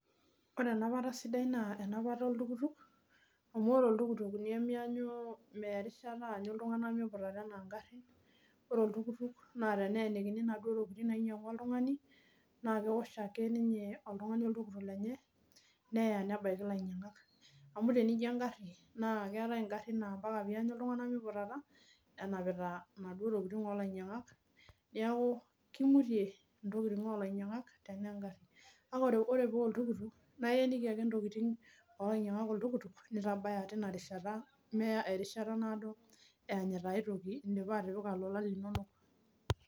Otre enapata sidai naa enapata oltukutuk, amu ore oltukutuk nemeeta rishata anyu miputata ena ngarin. Ore oltukutuk naa teneenikini naduo tokiting nainyangua oltungani, naa keosh ake ninye oltungani oltukutuk lenye nebaiki lainyangak. Amu tenijo engari naa mpaka pee enyu iltunganak meiputata enapita naduo tokiting olainyangak. Neeku kimutie ntokiting olainyangak tenaa egari kake ore paa oltukutuknaa ieneiki ake ntokiting oltukutuk nintabaya tina rishata meya airishata naado enyita aitoki indipa atipika lolan linonok.